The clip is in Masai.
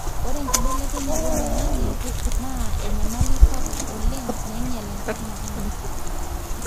ore enkibelekenyata olaingange na enyamali sapuk oleng nainyial enkop msima